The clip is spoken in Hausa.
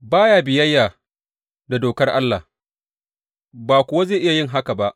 Ba ya biyayya da dokar Allah, ba kuwa zai iya yin haka ba.